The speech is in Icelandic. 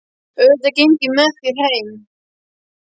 Auðvitað geng ég með þér heim